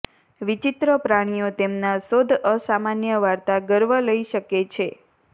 વિચિત્ર પ્રાણીઓ તેમના શોધ અસામાન્ય વાર્તા ગર્વ લઇ શકે છે